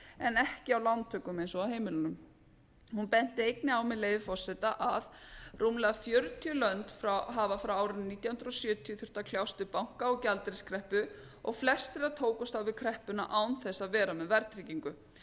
en ekki á lántökum eins og á heimilunum hún benti einnig á með leyfi forseta að rúmlega fjörutíu lönd hafa frá árinu nítján hundruð sjötíu þurft að kljást við banka og gjaldeyriskreppu og flest þeirra tókust á við kreppuna án þess að vera með verðtryggingu